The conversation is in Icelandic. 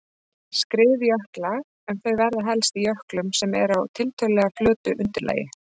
skriðjökla en þau verða helst í jöklum sem eru á tiltölulega flötu undirlagi.